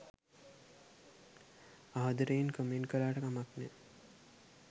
ආදරයෙන් කමෙන්ට් කලාට කමන් නෑ